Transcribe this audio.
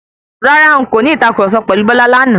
Rárá,n kò ní ìtàkurọ̀sọ pẹ̀lu Bọ́lá lánàá.